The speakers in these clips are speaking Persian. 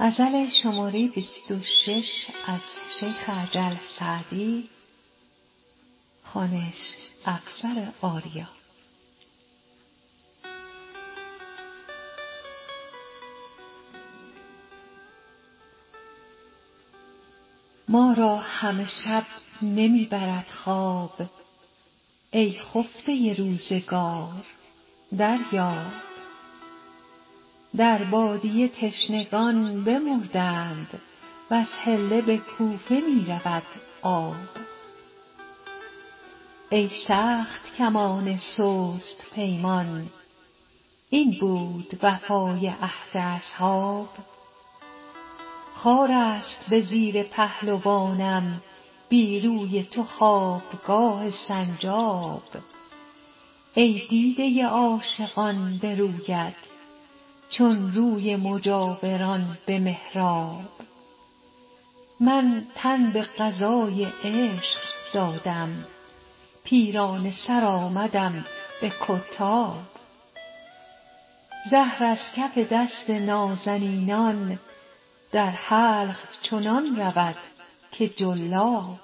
ما را همه شب نمی برد خواب ای خفته روزگار دریاب در بادیه تشنگان بمردند وز حله به کوفه می رود آب ای سخت کمان سست پیمان این بود وفای عهد اصحاب خار است به زیر پهلوانم بی روی تو خوابگاه سنجاب ای دیده عاشقان به رویت چون روی مجاوران به محراب من تن به قضای عشق دادم پیرانه سر آمدم به کتاب زهر از کف دست نازنینان در حلق چنان رود که جلاب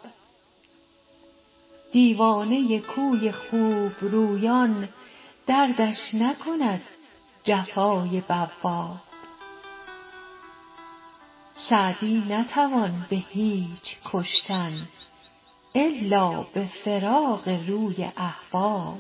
دیوانه کوی خوبرویان دردش نکند جفای بواب سعدی نتوان به هیچ کشتن الا به فراق روی احباب